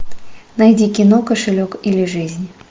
найди кино кошелек или жизнь